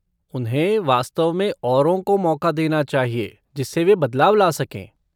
उन्हें वास्तव में औरों को मौका देना चाहिए जिससे वे बदलाव ला सकें।